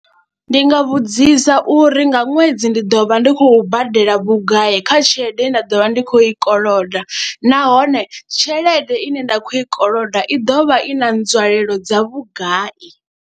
Ndi nga vhudzisa uri nga ṅwedzi ndi ḓo vha ndi khou badela vhugai kha tshelede ye nda ḓo vha ndi khou i koloda nahone tshelede ine nda khou i koloda i ḓo vha i na nzwalelo dza vhugai.